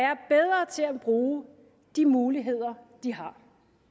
bruge de muligheder de har